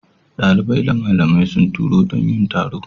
Dalibai da malamai sun taru don yin taro.